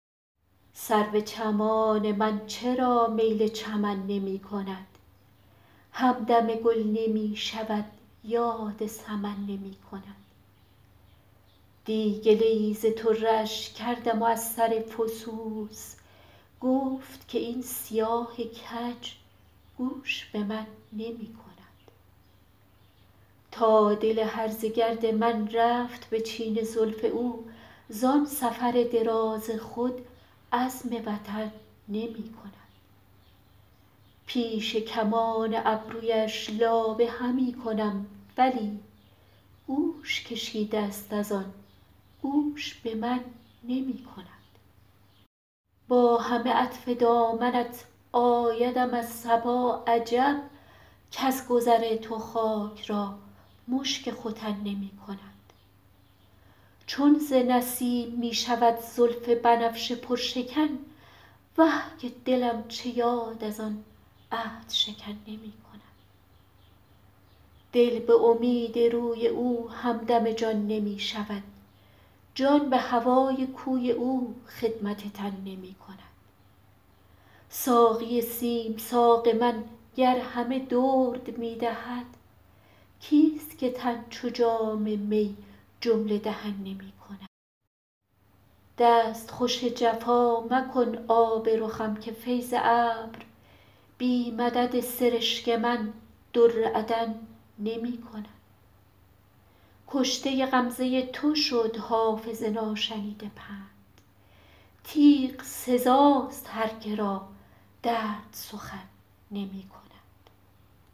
سرو چمان من چرا میل چمن نمی کند همدم گل نمی شود یاد سمن نمی کند دی گله ای ز طره اش کردم و از سر فسوس گفت که این سیاه کج گوش به من نمی کند تا دل هرزه گرد من رفت به چین زلف او زان سفر دراز خود عزم وطن نمی کند پیش کمان ابرویش لابه همی کنم ولی گوش کشیده است از آن گوش به من نمی کند با همه عطف دامنت آیدم از صبا عجب کز گذر تو خاک را مشک ختن نمی کند چون ز نسیم می شود زلف بنفشه پرشکن وه که دلم چه یاد از آن عهدشکن نمی کند دل به امید روی او همدم جان نمی شود جان به هوای کوی او خدمت تن نمی کند ساقی سیم ساق من گر همه درد می دهد کیست که تن چو جام می جمله دهن نمی کند دستخوش جفا مکن آب رخم که فیض ابر بی مدد سرشک من در عدن نمی کند کشته غمزه تو شد حافظ ناشنیده پند تیغ سزاست هر که را درد سخن نمی کند